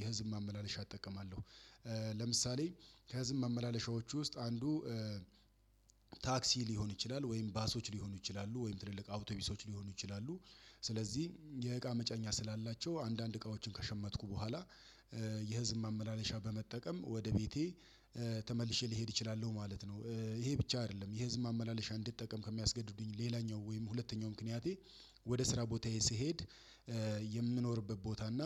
የህዝብ ማመላለሻ እጠቀማለሁ። ለምሳሌ ከህዝብ ማመላለሻዎቹ ውስጥ አንዱ ታክሲ ሊሆን ይችላል ወይም ባሶች ሊሆኑ ይችላሉ ወይም ትልልቅ አውቶቢሶች ሊሆኑ ይችላሉ። ስለዚህ የእቃ መጨኛ ስላላቸው አንዳንድ እቃዎችን ከሸመትኩ በኋላ የህዝብ ማመላለሻ በመጠቀም ወደ ቤቴ ተመልሼ ልሄድ እችላለሁ ማለት ነው። ይሄ ብቻ አይደለም ይሄ የህዝብ ማመላለሻ እንድትጠቀም ከሚያስገድዱኝ ሌላኛው ወይም ሁለተኛው ምክንያቴ። ወደ ስራ ቦታዬ ስሄድ የምኖርበት ቦታ እና